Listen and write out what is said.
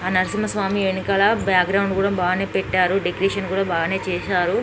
ఆ నరసింహ స్వామి ఎనకాల background కూడా బానే పెట్టారు డెకరేషన్ కూడా బానే చేసారు.